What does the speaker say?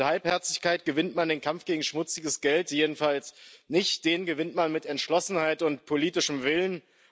Mit Halbherzigkeit gewinnt man den Kampf gegen schmutziges Geld jedenfalls nicht. Den gewinnt man mit Entschlossenheit und politischem Willen.